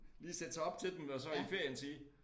Lige sætte sig op til dem og så i ferien sige